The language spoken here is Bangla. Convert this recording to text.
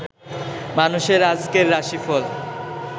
মানুষের আজকের রাশি ফল